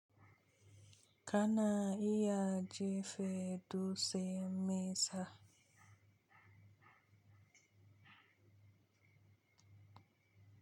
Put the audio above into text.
Kana iya jefa dutse mai nesa.